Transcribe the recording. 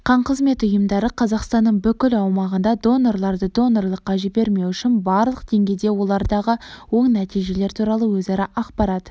қан қызметі ұйымдары қазақстанның бүкіл аумағында донорларды донорлыққа жібермеу үшін барлық деңгейде олардағы оң нәтижелер туралы өзара ақпарат